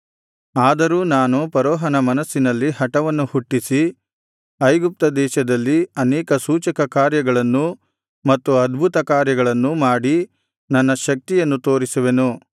ಆದರೂ ನಾನು ಫರೋಹನ ಮನಸ್ಸಿನಲ್ಲಿ ಹಠವನ್ನು ಹುಟ್ಟಿಸಿ ಐಗುಪ್ತದೇಶದಲ್ಲಿ ಅನೇಕ ಸೂಚಕಕಾರ್ಯಗಳನ್ನೂ ಮತ್ತು ಅದ್ಭುತಕಾರ್ಯಗಳನ್ನೂ ಮಾಡಿ ನನ್ನ ಶಕ್ತಿಯನ್ನು ತೋರಿಸುವೆನು